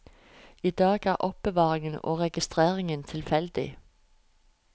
I dag er er oppbevaringen og registreringen tilfeldig.